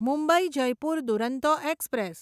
Mumbai Jaipur Duronto express